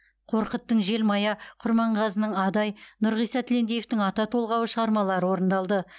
қорқыттың желмая құрманғазының адай нұрғиса тілендиевтің ата толғауы шығармалары орындалды